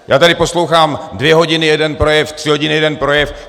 Já tady poslouchám dvě hodiny jeden projev, tři hodiny jeden projev.